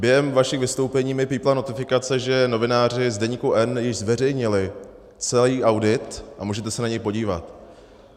Během vašich vystoupení mi pípla notifikace, že novináři z Deníku N již zveřejnili celý audit, a můžete se na něj podívat.